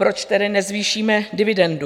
Proč tedy nezvýšíme dividendu?